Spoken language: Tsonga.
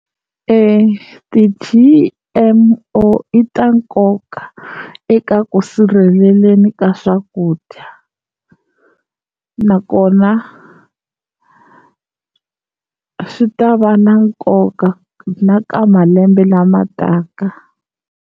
Ti-G_M_O i ta nkoka eka ku sirheleleni ka swakudya, nakona swi ta va na nkoka na ka malembe lama taka.